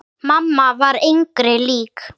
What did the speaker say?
Mamma var engri lík.